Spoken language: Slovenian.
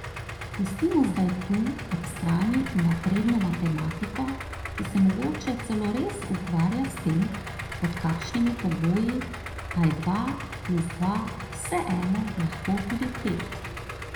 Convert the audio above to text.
Pustimo zdaj tu ob strani napredno matematiko, ki se mogoče celo res ukvarja s tem, pod kakšnimi pogoji pa je dva plus dva vseeno lahko tudi pet.